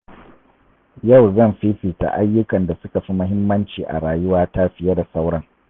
Yau zan fifita ayyukan da suka fi muhimmanci a rayuwata fiye da sauran.